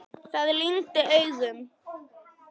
Það lygndi augum.